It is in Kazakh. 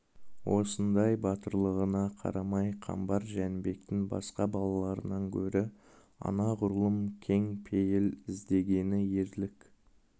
осындай батырлығына қарамай қамбар жәнібектің басқа балаларынан гөрі анағұрлым кең пейіл іздегені ерлік